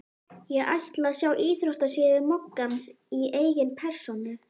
Ég ætla að sjá íþróttasíðu moggans í eigin persónu.